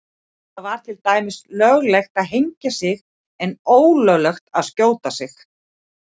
Það væri til dæmis löglegt að hengja sig en ólöglegt að skjóta sig.